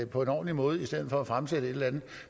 på en ordentlig måde i stedet for at man fremsætter et eller andet